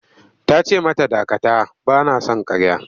Ta ce mata dakata! Ba na son ƙarya.